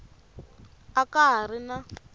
a ka ha ri na